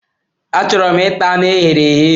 Achọrọ m ita anu e ghere eghe.